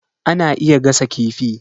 Ana iya gasa kifi.